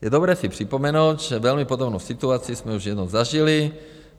Je dobré si připomenout, že velmi podobnou situaci jsme už jednou zažili.